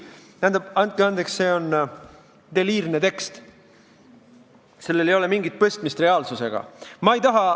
Tähendab, andke andeks, see on deliirne tekst, sellel ei ole mingit pistmist reaalsusega.